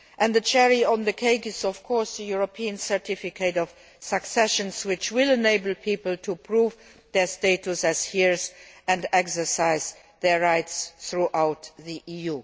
The cherry on the cake is, of course, the European Certificate of Succession which will enable people to prove their status as heirs and exercise their rights throughout the EU.